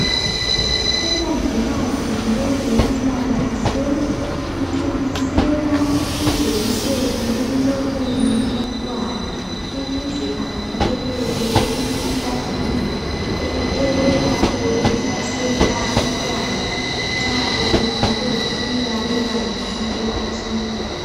Umongikazi wezempilakahle uthontisela ijekiseni emlonyeni womntwana ukuze avikeleke emikhuhlaneni elakho ukuhlasela umntwana nxa esekhule wafika ebangeni elithile